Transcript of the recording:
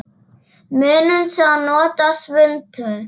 Munum svo að nota svuntu.